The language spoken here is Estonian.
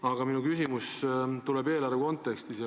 Aga minu küsimus tuleb eelarve kontekstis.